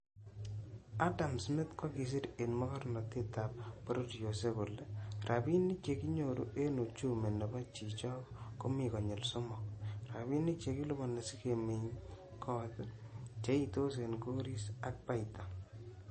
Adam smith kokisir en mogornotet ab bororiosiek kole "rabinik che kinyoru en uchumi nebo chichok komi konyil somok; rabinik che kiliponi sikemeny got, cheitos en goris ak baita."